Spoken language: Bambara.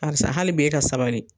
Karisa hali bi e ka sabali.